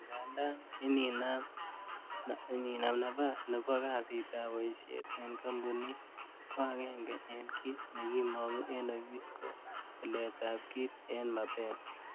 Angandan ininam napas nebo kasit ab boisiet en kampunit, ko agenge en kit nekimongu en ofis ko tilet ab kit en mapema.